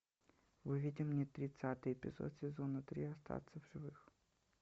выведи мне тридцатый эпизод сезона три остаться в живых